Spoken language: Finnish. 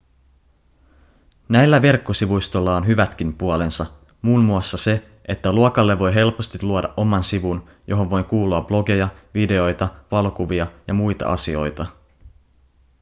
näillä verkkosivustoilla on hyvätkin puolensa muun muassa se että luokalle voi helposti luoda oman sivun johon voi kuulua blogeja videoita valokuvia ja muita asioita